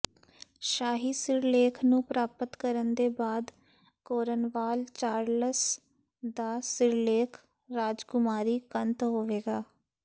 ਸ਼ਾਹੀ ਸਿਰਲੇਖ ਨੂੰ ਪ੍ਰਾਪਤ ਕਰਨ ਦੇ ਬਾਅਦ ਕੋਰਨਵਾਲ ਚਾਰਲਸ ਦਾ ਸਿਰਲੇਖ ਰਾਜਕੁਮਾਰੀ ਕੰਤ ਹੋਵੇਗਾ